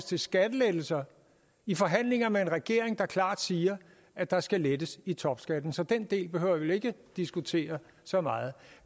til skattelettelser i forhandlinger med en regering der klart siger at der skal lettes i topskatten så den del behøver vi vel ikke at diskutere så meget